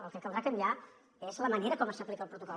el que caldrà canviar és la manera com s’aplica el protocol